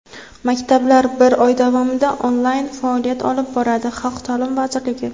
Maktablar bir oy davomida onlayn faoliyat olib boradi — Xalq ta’limi vazirligi.